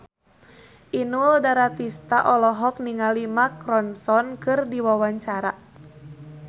Inul Daratista olohok ningali Mark Ronson keur diwawancara